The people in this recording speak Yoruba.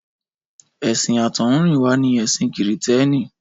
Ẹ̀sìn àtọ̀húnrìnwá ni ẹ̀sìn Kìrìtẹ́ẹ́nì.